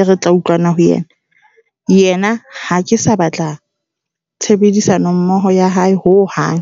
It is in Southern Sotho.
e re tla utlwana ho yena. Yena ha ke sa batla tshebedisano mmoho ya hae ho hang.